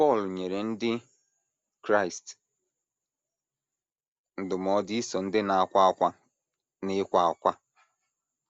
Pọl nyere ndị Kraịst ndụmọdụ ‘ iso ndị na - akwa ákwá n’ịkwa ákwá. ’